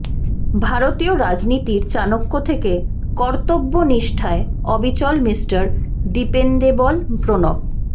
ভারতীয় রাজনীতির চাণক্য থেকে কর্তব্যনিষ্ঠায় অবিচল মিস্টার ডিপেন্ডেবল প্রণব